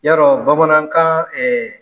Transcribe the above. Yarɔ bamanankan